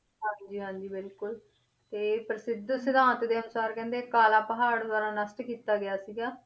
ਹਾਂਜੀ ਹਾਂਜੀ ਬਿਲਕੁਲ ਤੇ ਇਹ ਪ੍ਰਸਿੱਧ ਸਿਧਾਂਤ ਦੇ ਅਨੁਸਾਰ ਕਹਿੰਦੇ ਕਾਲਾ ਪਹਾੜ ਨਸ਼ਟ ਕੀਤਾ ਗਿਆ ਸੀਗਾ,